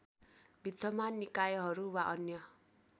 विद्यमान निकायहरू वा अन्य